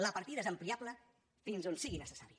la partida és ampliable fins on sigui necessari